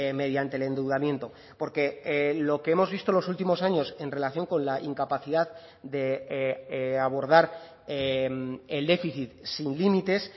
mediante el endeudamiento porque lo que hemos visto en los últimos años en relación con la incapacidad de abordar el déficit sin límites